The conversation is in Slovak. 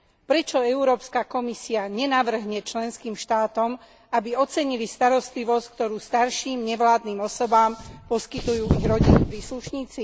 Prečo Európska komisia nenavrhne členským štátom, aby ocenili starostlivosť, ktorú starším, nevládnym osobám poskytujú ich rodinní príslušníci?